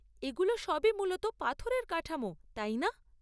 এগুলো সবই মূলত পাথরের কাঠামো, তাই না?